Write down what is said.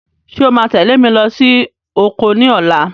Ṣé o máa tẹ̀lé mi lọ sí oko ní ọ̀la?